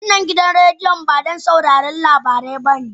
Wannan gidan rediyon ba don sauraron labarai bane